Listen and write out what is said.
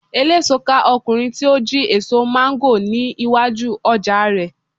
eleso ká ọkunrin ti o ji eso mango ni iwaju oja rẹ